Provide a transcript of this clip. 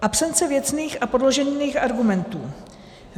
Absence věcných a podložených argumentů.